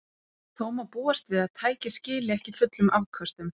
Þó má búast við að tækið skili ekki fullum afköstum.